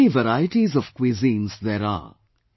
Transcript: How many varieties of cuisines there are